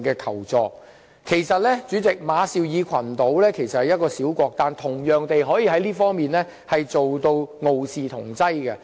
主席，其實馬紹爾群島只是一個小國，但在這方面同樣能傲視同儕。